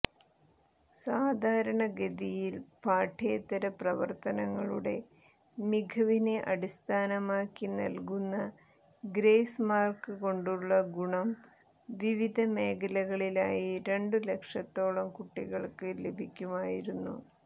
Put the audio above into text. സാധാരണഗതിയിൽ പാഠ്യേതരപ്രവർത്തനങ്ങളുടെ മികവിനെ അടിസ്ഥാനമാക്കി നൽകുന്ന ഗ്രേസ് മാർക്ക് കൊണ്ടുള്ള ഗുണം വിവിധ മേഖലകളിലായി രണ്ട് ലക്ഷത്തോളം കുട്ടികൾക്ക് ലഭിക്കുമായിരുന്നു